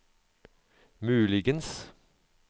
muligens